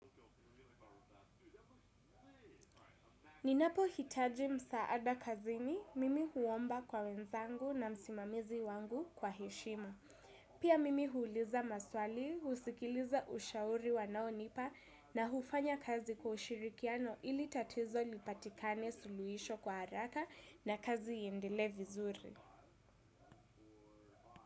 Ninapo hitaji msaada kazini, mimi huomba kwa wenzangu na msimamizi wangu kwa heshima. Pia mimi huuliza maswali, husikiliza ushauri wanaonipa na hufanya kazi kwa ushirikiano ili tatizo lipatikane suluhisho kwa haraka na kazi iendelee vizuri.